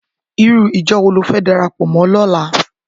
Irú ijò wó ló fè dàrápò mò lòlá?